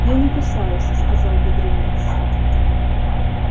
я не кусаюсь сказал бедренец